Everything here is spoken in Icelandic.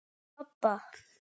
Upp á pabba.